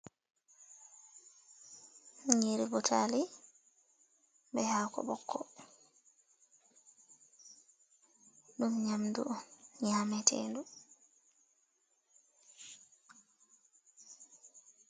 Nyiri Butali be hako ɓokko. Ɗum nyamdu on nyamatendu.